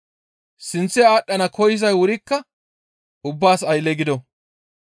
Sinththe aadhdhana koyzay wurikka ubbaas aylle gido.